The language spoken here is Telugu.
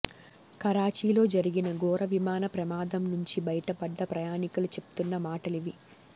కరాచీలో జరిగిన ఘోర విమాన ప్రమాదం నుంచి బయటపడ్డ ప్రయాణికులు చెప్తున్న మాటలివి